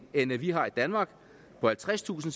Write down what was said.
end vi har i danmark på halvtredstusind